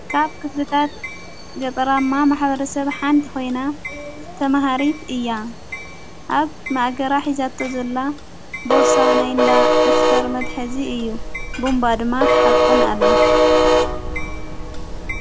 ካብ ክፍትታት ገጠራማ ማኅበሕ ሰብ ሓንቲ ኾይና ተመሃሪት እያ ኣብ ማእገራ ሒዛቶ ዘላ ቦርሳ ናይ እንዳ ደፍተር መትሐዚ እዩ ቦምባ ድማ ተሓቁን ኣላ።